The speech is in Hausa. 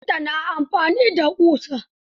Kafinta na amfani da ƙusa.